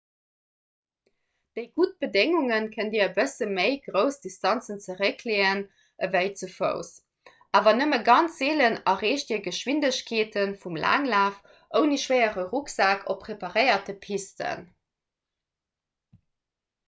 bei gudde bedéngunge kënnt dir e bësse méi grouss distanzen zeréckleeën ewéi ze fouss awer nëmme ganz seelen erreecht dir d'geschwindegkeete vum laanglaf ouni schwéiere rucksak op preparéierte pisten